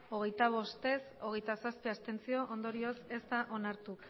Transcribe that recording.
hogeita bost abstentzioak hogeita zazpi ondorioz ez da onartu